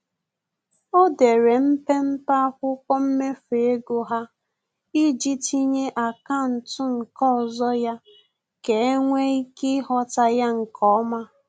O dere mpempe akwụkwọ mmefu ego ha iji tinye akaụntụ nke ọzọ ya ka enwe ike ịghọta ya nkeọma